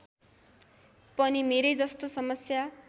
पनि मेरै जस्तो समस्या